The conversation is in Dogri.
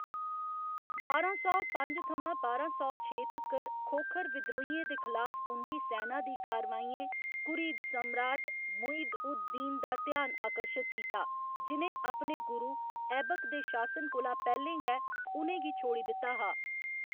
बारां सौ पंज थमां बारां सौ छे तक्कर खोखर विद्रोहियें दे खलाफ उं'दी सैना दी कारवाइयें घुरिद सम्राट मुइज अद दीन दा ध्यान आकर्शत कीता, जि'नें अपने गुरु ऐबक दे शासन कोला पैह्‌लें गै उ'नें गी छोड़ी दित्ता हा।